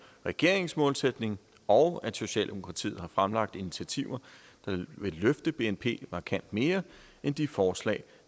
regeringens målsætning og at socialdemokratiet har fremlagt initiativer der vil løfte bnp markant mere end de forslag